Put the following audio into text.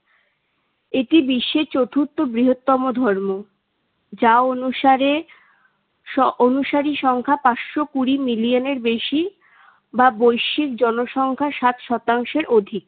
এটি বিশ্বের চতুর্থ বৃহত্তম ধর্ম। যা অনুসারে স~ অনুসারী সংখ্যা পাঁচশো কুড়ি million এর বেশি। বা বৈশ্বিক জনসংখ্যার সাত শতাংশের অধিক।